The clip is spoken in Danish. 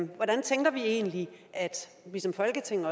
hvordan tænker vi egentlig vi som folketing